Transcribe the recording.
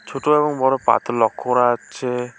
ছোট এবং বড় পাথর লক্ষ করা যাচ্ছে।